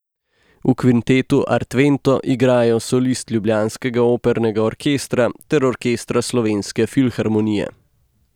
V kvintetu Artvento igrajo solisti ljubljanskega opernega orkestra ter orkestra Slovenske filharmonije.